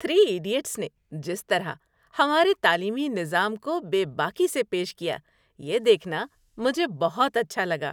Three idiots نے جس طرح ہمارے تعلیمی نظام کو بے باکی سے پیش کیا یہ دیکھنا مجھے بہت اچھا لگا۔